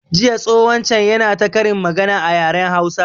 Jiya tsohon can yana ta ƙarin magana a yaren hausa